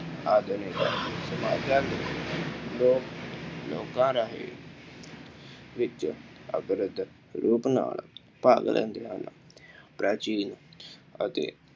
ਆਧੁਨਿਕ ਸਮਾਜਾਂ ਵਿੱਚ ਲੋਕ ਲੋਕਾਂ ਰਾਹੀਂ ਵਿੱਚ ਰੂਪ ਨਾਲ ਪਾਗਲ ਹਨ। ਪ੍ਰਾਚੀਨ ਅਤੇ